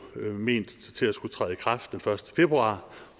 ment til at skulle træde i kraft den første februar